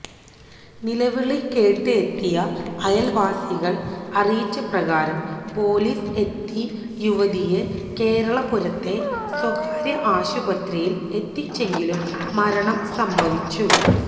നിലവിളി കേട്ട് എത്തിയ അയൽവാസികൾ അറിയിച്ചപ്രകാരം പൊലീസ് എത്തി യുവതിയെ കേരളപുരത്തെ സ്വകാര്യ ആശുപത്രിയിൽ എത്തിച്ചെങ്കിലും മരണം സംഭവിച്ചു